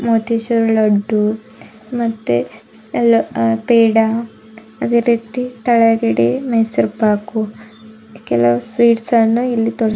ಮತ್ತು ಈ ಸೈಡ್ ಲಡ್ಡು ಮತ್ತೆ ಎಲ್ಲ ಪೇಡ ಅದೇ ರೀತಿ ತೆಳಗಡೆ ಮೈಸೂರ್ ಪಾಕು ಕೆಲವು ಸ್ವೀಟ್ಸ್ ಅನ್ನು ಇಲ್ಲಿ--